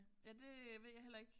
Ja det ved jeg heller ikke